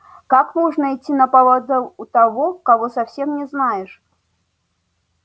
как можно идти на поводу у того кого совсем не знаешь